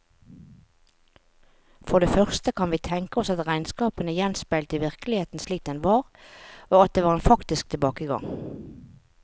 For det første kan vi tenke oss at regnskapene gjenspeilte virkeligheten slik den var, og at det var en faktisk tilbakegang.